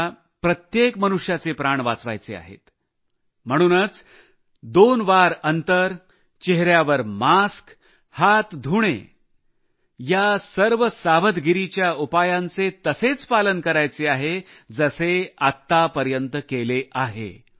आम्हाला प्रत्येक मनुष्याचे प्राण वाचवायचे आहेत म्हणूनच 6 फुट अंतर चेहऱ्यावर मास्क हात धुणे या सर्व सावधगिरीच्या उपायांचे आतापर्यंत जसे पालन केले तसेच यापुढेही करायचे आहे